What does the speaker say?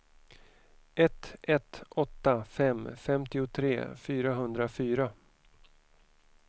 ett ett åtta fem femtiotre fyrahundrafyra